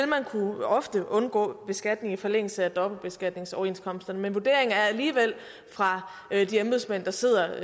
man ofte kunne undgå beskatning i forlængelse af dobbeltbeskatningsoverenskomsterne men vurderingen er alligevel fra de embedsmænd der sidder